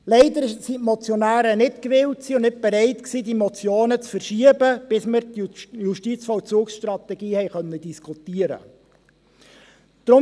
Leider waren die Motionäre nicht gewillt und nicht bereit, die Motionen zu verschieben, bis wir die Justizvollzugsstrategie diskutieren konnten.